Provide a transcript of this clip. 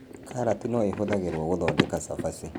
Karati no ĩhũthĩrwo gũthondeka cabaci